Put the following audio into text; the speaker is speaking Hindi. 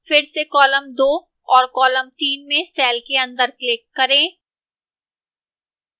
फिर से column 2 और row 3 में cell के अंदर click करें